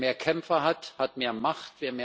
Wer mehr Kämpfer hat, hat mehr Macht.